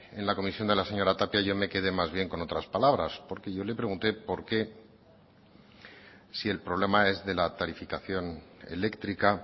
en la comisión de la señora tapia yo me quedé más bien con otras palabras porque yo le pregunté porque si el problema es de la tarificación eléctrica